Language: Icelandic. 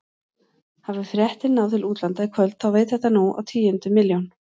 Hafi fréttin náð til útlanda í kvöld þá veit þetta nú á tíundu milljón.